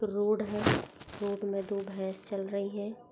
Road है और road में दो भैस चल रही है।